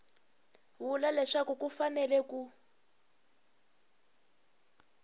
vula leswaku ku fanele ku